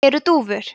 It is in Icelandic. eru dúfur